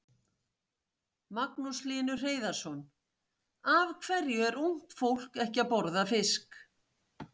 Magnús Hlynur Hreiðarsson: Af hverju er ungt fólk ekki að borða fisk?